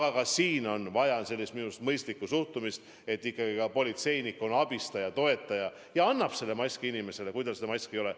Aga siin on minu arust vaja mõistlikku suhtumist, et politseinik on abistaja, toetaja, kes annab inimesele maski, kui tal seda miskipärast ei ole.